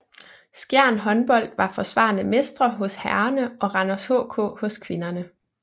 Skjern Håndbold var forsvarende mestre hos herrerne og Randers HK hos kvinderne